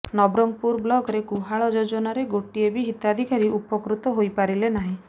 ନବରଙ୍ଗପୁର ବ୍ଳକରେ ଗୁହାଳ ଯୋଜନାରେ ଗୋଟିଏ ବି ହିତାଧିକାରୀ ଉପକୃତ ହୋଇ ପାରିଲେ ନାହିଁ